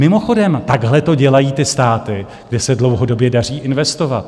Mimochodem, takhle to dělají ty státy, kde se dlouhodobě daří investovat.